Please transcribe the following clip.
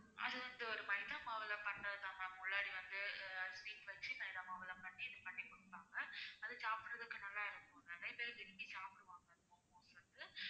அது வந்து ஒரு மைதா மாவுல பண்றது தான் ma'am உள்ளே வந்து அஹ் sweet வச்சு மைதா மாவுல பண்ணி இது பண்ணி குடுப்பாங்க அது சாப்பிடுறதுக்கு நல்லா இருக்கும் ma'am நிறைய பேரு விரும்பி சாப்பிடுவாங்க momos வந்து